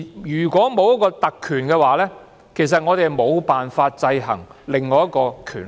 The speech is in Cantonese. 如果沒有特權，立法會便無法制衡另一個權力。